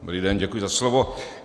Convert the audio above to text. Dobrý den, děkuji za slovo.